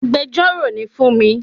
Agbẹjọ́rò ni fúnmi